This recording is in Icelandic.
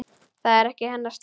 Það er ekki hennar stíll.